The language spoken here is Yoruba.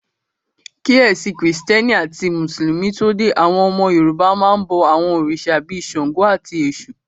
Kí ẹ̀sìn krìstẹ́nì àti mùsùlùmí tó dé, àwọn ọmọ Yorùbá máa n bọ àwọn òrìṣà bíi ṣàngó, àti èṣù